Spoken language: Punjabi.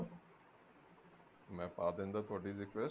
ਮੈਂ ਪਾ ਦਿੰਦਾ ਤੁਹਾਡੀ request